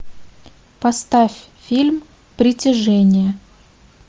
поставь фильм притяжение